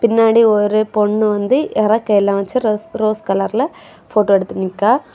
பின்னாடி ஒரு பொண்ணு வந்து இரெக்க எல்லாம் வெச்சு ரஸ் ரோஸ் கலர்ல போட்டோ எடுத்து நிக்கா.